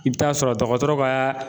I bɛ taa sɔrɔ dɔgɔtɔrɔ ka